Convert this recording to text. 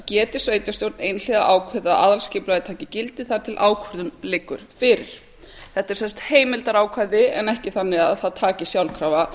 geti sveitarstjórn einhliða ákveðið að aðalskipulagið taki gildi þar til ákvörðun liggur fyrir þetta er sem sagt heimildarákvæði en ekki þannig að það taki sjálfkrafa